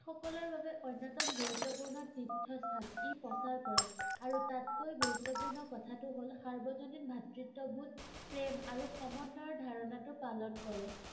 সকলোৰে বাবে অন্যতম গুৰুত্বপূৰ্ণ তীৰ্থস্থান ই প্ৰচাৰ কৰে আৰু তাতকৈ গুৰুত্বপূৰ্ণ কথাটো হল সাৰ্বজনীন ভাতৃত্ববোধ প্ৰেম আৰু সমন্বয়ৰ ধাৰণাটো পালন কৰে